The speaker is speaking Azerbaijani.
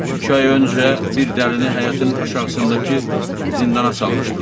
İki ay öncə bir dəlini həyətin aşağısındakı zindana salmışdılar.